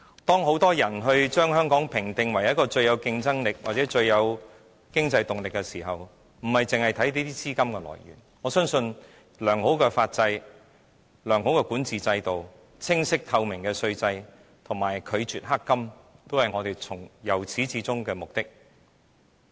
當很多人把香港評定為一個最具競爭力或最具經濟動力的地方時，我們不應只看着這些資金來源，我相信維護良好的法制、良好的管治制度、清晰透明的稅制和拒絕"黑金"，都是我們由始至終的目的。